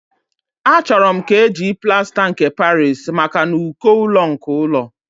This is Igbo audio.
Achọrọ m ka eji plasta nke Paris maka n'uko ụlọ nke ụlọ